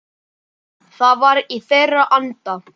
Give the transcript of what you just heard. Það var í þeirra anda.